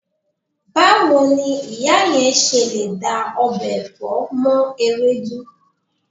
Báwo ni ìyá yẹn ṣe lè da ọbẹ̀ ọ̀fẹ́ mọ́ ewédú?